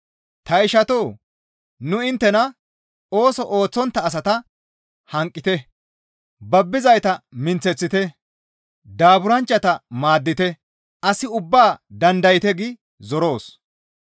Ta ishatoo! Nu inttena, «Ooso ooththontta asata hanqettite; babbizayta minththite; daaburanchchata maaddite; as ubbaa dandayte» gi zoroos.